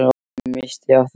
Ég missti af þér.